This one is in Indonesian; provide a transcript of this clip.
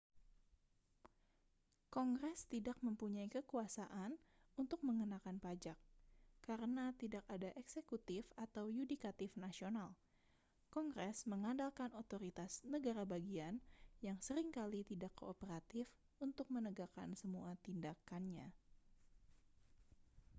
kongres tidak mempunyai kekuasaan untuk mengenakan pajak karena tidak ada eksekutif atau yudikatif nasional kongres mengandalkan otoritas negara bagian yang sering kali tidak kooperatif untuk menegakkan semua tindakannya